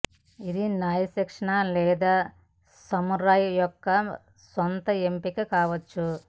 ఇది న్యాయ శిక్ష లేదా సమురాయ్ యొక్క సొంత ఎంపిక కావచ్చు